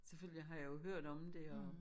Selvfølgelig har jeg jo hørt om det og